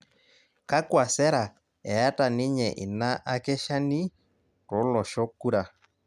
kakwa sera eeta ninye ina akeshani toloshok kura